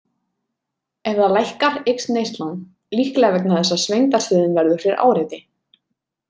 Ef það lækkar eykst neyslan, líklega vegna þess að svengdarstöðin verður fyrir áreiti.